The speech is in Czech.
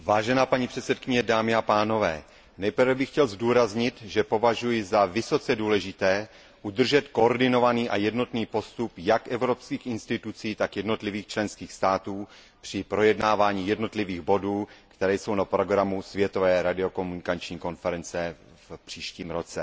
Paní předsedající, nejprve bych chtěl zdůraznit, že považuji za vysoce důležité udržet koordinovaný a jednotný postup jak evropských institucí, tak jednotlivých členských států při projednávání jednotlivých bodů, které jsou na programu Světové radiokomunikační konference v příštím roce.